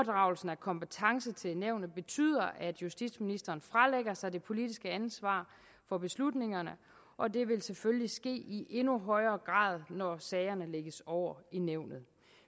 af kompetence til nævnet betyder at justitsministeren fralægger sig det politiske ansvar for beslutningerne og det vil selvfølgelig ske i endnu højere grad når sagerne lægges over i nævnet